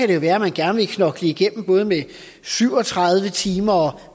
det være man gerne vil knokle igennem både med syv og tredive timer og